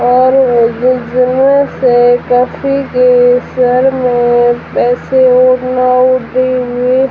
और के सर में पैसे --